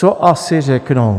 Co asi řeknou?